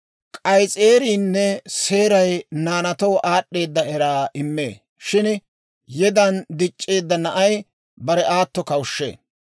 K'ayis'eeriinne seeray naanaatoo aad'd'eedda eraa immee; shin yedan dic'c'eedda na'ay bare aato kawushshee.